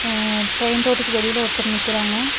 அ train ரோட்டுக்கு வெளில ஒருத்தர் நிக்கிறாங்க.